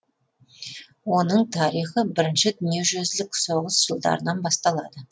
оның тарихы бірінші дүние жүзілік соғыс жылдарынан басталады